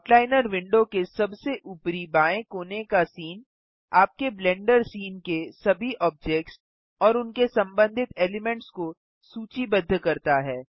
outliner window के सबसे ऊपरी बाएँ कोने का सीन आपके ब्लेंडर सीन के सभी ऑब्जेक्ट्स और उनके सम्बन्धित एलिमेंट्स को सूचीबद्ध करता है